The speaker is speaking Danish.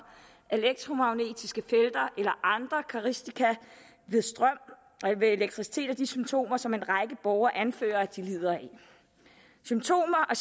elektromagnetiske felter eller andre karakteristika ved strøm eller elektricitet og de symptomer som en række borgere anfører at de lider af symptomer og